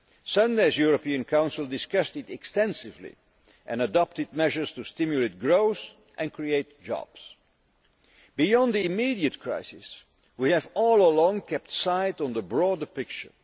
Sunday's European Council discussed this extensively and adopted measures to stimulate growth and create jobs. Beyond the immediate crisis, we have all along kept sight of the broader picture.